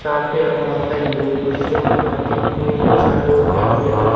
साथ में यहां बहोत सारे लोग कुर्सियों में बैठे हुए हैं चारों ओर कैमरे लगे--